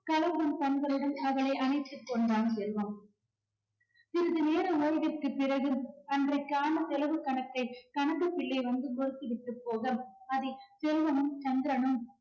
அவளை அணைத்துக் கொண்டான் செல்வம். சிறிது நேர ஓய்வுக்குப் பிறகு அன்றைக்கான செலவு கணக்கை கணக்குப்பிள்ளை வந்து விட்டுப் போக அதை செல்வனும் சந்திரனும்